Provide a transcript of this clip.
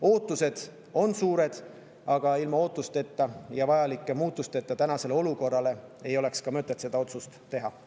Ootused on suured, aga ilma ootusteta ja muudatuste vajalikkuseta tänases olukorras ei oleks mõtet seda otsust teha.